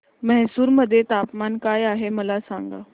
म्हैसूर मध्ये तापमान काय आहे मला सांगा